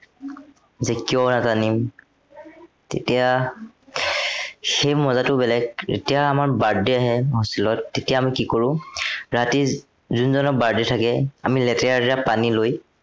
যে কিয় নাকান্দিম তেতিয়া, সেই মজাটো বেলেগ। যেতিয়া আমাৰ birthday আহে hostel ত তেতিয়া আমি কি কৰো, ৰাতি যোনজনৰ birthday থাকে, লেতেৰা লেতেৰা পানী লৈ